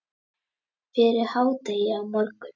Fyrir hádegi á morgun.